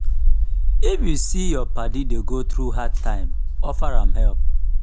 if yu see say yur padi dey go thru hard time offer am help.